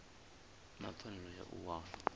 na pfanelo ya u wana